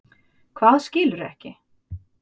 Hvað skilurðu ekki?